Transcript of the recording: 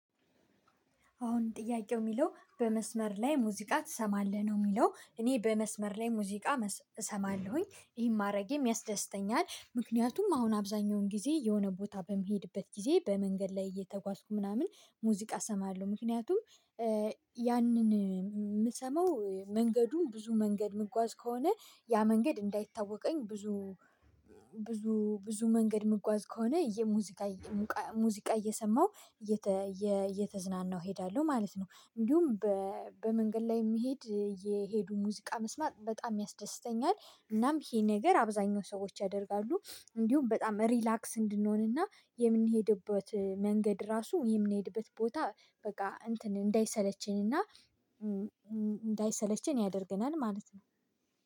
አሁን ጥያቄው የሚለው በመስመር ላይ ሙዚቃ ትሰማለህ ነው? የሚለው እኔ በመስመር ላይ ሙዚቃ እሰማለሁኝ ይሄን ማድረጌም ያስደስተኛል። ምክንያቱም አሁን አብዛኛውን ጊዜ የሆነ ቦታ በምሄድበት ጊዜ በመንገድ ላይ እየተጓዝኩ ምናምን ሙዚቃ እሰማለሁ። ምክንያቱም ያንን የምሰማው መንገዱን ብዙ መንገድ ምጓዝ ከሆነ ያ መንገድ እንዳይታወቀኝ ብዙ ብዙ ብዙ መንገድ ምጓዝ ከሆነ ሙዚቃ እየሰማው እየተዝናናው እሄዳለሁ ማለት ነው። እንዲሁም በመንገድ ላይ የሚሄድ እየሄዱ ሙዚቃ መስማት በጣም ያስደስተኛል። እናም ይሄ ነገር አብዛኛው ሰዎች ያደርጋሉ። እንዲሁም በጣም ሪላክስ እንድንሆንና የምንሄድበት መንገድ ራሱ የምንሄድበት ቦታ በቃ እንትን እንዳይሰለቸኝና እንዳይሰለቸን ያደርግናል። ማለት ነው